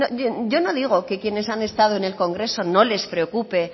yo no digo que quienes han estado en el congreso no les preocupe